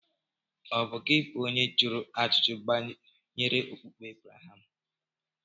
Ọ̀ bụ gị bụ onye jụrụ ajụjụ banyere okpukpe Ebreham?